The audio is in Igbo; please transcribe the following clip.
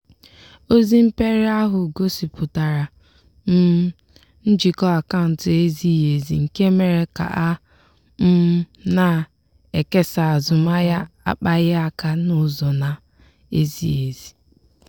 ozi mperi ahụ gosipụtara um njikọ akaụntụ ezighi ezi nke mere ka a um na-ekesa azụmahịa akpaghịaka n'ụzọ na-ezighi ezi.